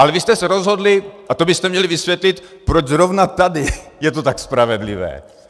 Ale vy jste se rozhodli, a to byste měli vysvětlit, proč zrovna tady je to tak spravedlivé.